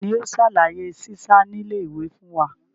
Tani yóò ṣàlàyé sísá nílé ìwé fún wa?